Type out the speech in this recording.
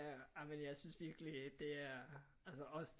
Ej men jeg synes virkelig det er altså også